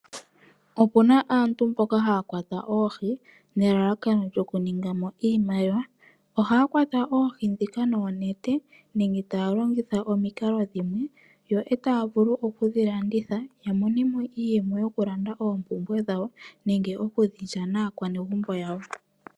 Opuna aantu mboka haya kwata oohi nelalakano lyoku ninga oshimaliwa. Ohaya kwata oohi ndhika noonete nenge taya longitha omikalo dhimwe opo ya vule oku dhi landitha ya mone mo iiyemo yokulanda oompumbwe dhawo nenge okudhi lya naakwanezimo yawo.